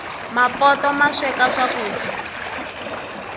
mapoto masweka swakuja